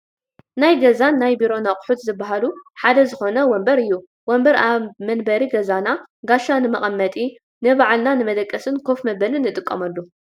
ናይ ገዛን ናይ ቢሮን ኣቑሑት ዝባሃሉ ሓደ ዝኾነ ወንበር እዩ፡፡ ወንበር ኣብ መንበሪ ገዛና ጋሻ ንመቐመጢ፣ ንባዕልና ንመደቀስን ከፍ መበልን ንጥቀመሉ፡፡